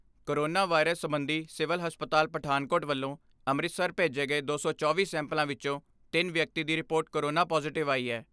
Corona virus ਸਬੰਧੀ civil ਹਸਪਤਾਲ ਪਠਾਨਕੋਟ ਵੱਲੋਂ ਅੰਮ੍ਰਿਤਸਰ ਭੇਜੇ ਗਏ ਦੋ ਸੌ ਚੌਵੀ ਸੈਂਪਲਾਂ ਵਿਚੋਂ ਤਿੰਨ ਵਿਅਕਤੀ ਦੀ ਰਿਪੋਰਟ ਕੋਰੋਨਾ ਪਾਜ਼ੇਟਿਵ ਆਈ ਐ।